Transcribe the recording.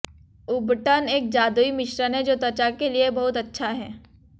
उबटन एक जादुई मिश्रण है जो त्वचा के लिए बहुत अच्छा है